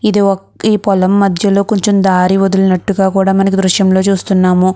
ఈ పొలం మధ్యలో కొంచెం దారి వదిలినట్టుగా కూడా మనం ఈ దృశ్యంలో చూస్తున్నాము.